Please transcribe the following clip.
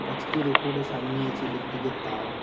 গাছটির ওপরে সামনেই আছে ইলেকট্রিকের তার।